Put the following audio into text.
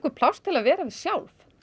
pláss til að vera við sjálf